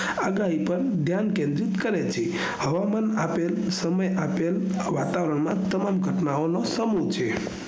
આગાહી પર ઘ્યાન કેન્દ્રિત કરે છે હવામાન આપેલ સમય આપેલ વાતાવરણ માં તમામ ઘટનાઓ નો સમૂહ છે